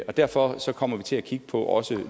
og derfor kommer vi til at kigge på også